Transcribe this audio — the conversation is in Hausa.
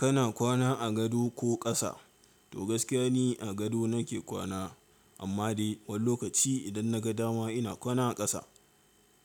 Kana kwana a gado ko ƙasa? To gaskiya ni a gado nake kwana, amma dai wani lokaci idan na ga dama ina kwana a ƙasa.